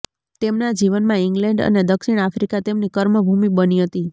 તેમના જીવનમાં ઇંગ્લેન્ડ અને દક્ષીણ આફ્રિકા તેમની કર્મ ભૂમિ બની હતી